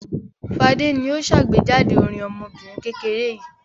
Fadé ni ó ṣàgbéjáde orin ọmọbìnrin kékeré yìí.